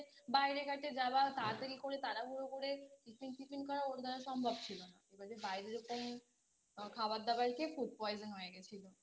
বাইরে ঘাটে যাওয়া তাতাড়ি করে তাড়াহুড়ো করে Tiffin Tiffin করা ওর দ্বারা সম্ভব ছিল না এবারে বাইরে ওরকম খাবার দাবার খেয়ে Food poison হয়ে গেছিলো